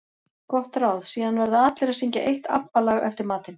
Gott ráð: Síðan verða allir að syngja eitt ABBA lag eftir matinn.